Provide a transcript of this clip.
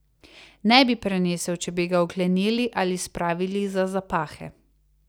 Ne bi prenesel, če bi ga vklenili ali spravili za zapahe.